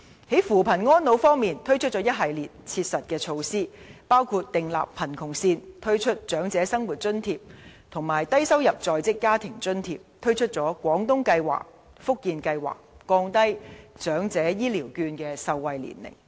在扶貧安老方面，政府推出一系列切實措施，包括訂立貧窮線、推出長者生活津貼及低收入在職家庭津貼、推出"廣東計劃"、"福建計劃"，以及降低長者醫療券的受惠年齡。